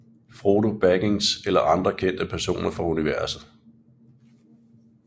Frodo Baggins eller andre kendte personer fra universet